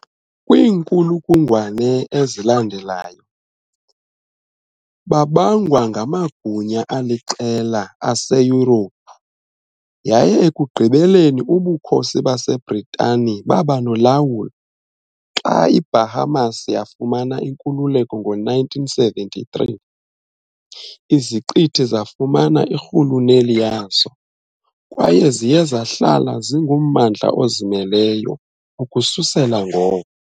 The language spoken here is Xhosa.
Kwiinkulungwane ezalandelayo, babangwa ngamagunya aliqela aseYurophu, yaye ekugqibeleni uBukhosi baseBritani baba nolawulo. Xa iBahamas yafumana inkululeko ngo-1973, iziqithi zafumana irhuluneli yazo, kwaye ziye zahlala zingummandla ozimeleyo ukususela ngoko.